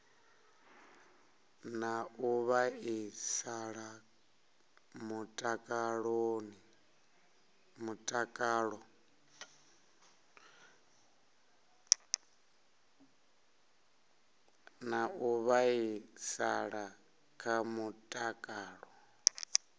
na u vhaisala kha mutakalo